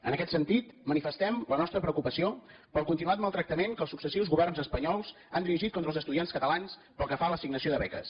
en aquest sentit manifestem la nostra preocupació pel continuat maltractament que els successius governs espanyols han dirigit contra els estudiants catalans pel que fa a l’assignació de beques